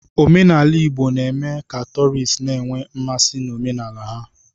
Omenala Igbo na-eme ka tọọrịst na-enwe mmasị n'omenala ha.